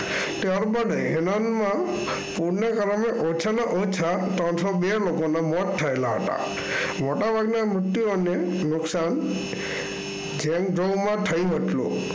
ત્યારબાદ એનાનમાં ઓછામાં ઓછા ત્રણસો બે લોકોના મોત થયેલા હતા. મોટાભાગે મૃત્યુ અને